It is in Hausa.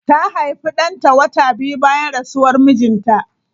Ta haifi danta wata biyu bayan rasuwar mijinta.